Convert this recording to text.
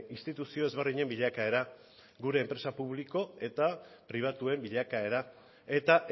instituzio ezberdinen bilakaera gure enpresa publiko eta pribatuen bilakaera eta